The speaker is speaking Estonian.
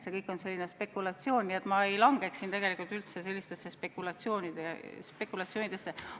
See kõik on spekulatsioon ja ma ei langeks siin üldse sellistesse spekulatsioonidesse.